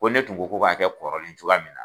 Ko ne tun ko ko b'a kɛ kɔrɔlen cogoya min na.